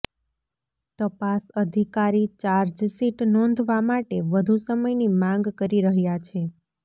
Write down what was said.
તપાસ અધિકારી ચાર્જશીટ નોંધવા માટે વધુ સમયની માંગ કરી રહ્યા છે